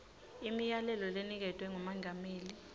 imiyalelo leniketwe ngumengameli